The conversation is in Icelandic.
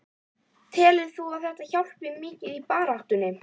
Telur þú að þetta hjálpi mikið í baráttunni?